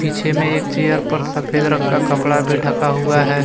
पीछे में एक चेयर पर सफेद रंग का कपड़ा भी ढका हुआ है।